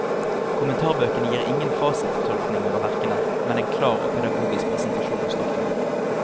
Kommentarbøkene gir ingen fasittolkninger av verkene, men en klar og pedagogisk presentasjon av stoffet.